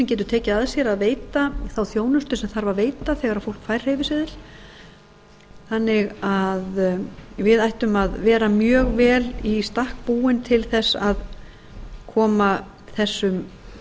getur tekið að sér að veita þá þjónustu sem þarf að veita þegar fólk fær hreyfiseðil þannig að við ættum að vera mjög vel í stakk búin til þess að koma þessum valkosti